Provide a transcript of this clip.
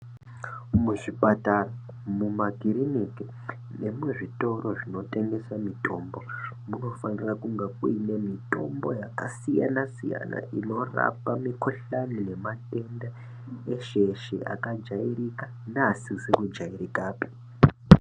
Muzvipatara mumakiriniki nekuzvitoro zvinotengesa mitombo. Munofanira kunga kuine mitombo yakasiyana-siyana, inorapa mikuhlani nematenda eshe-eshe akajairika neasizi kujairikapi.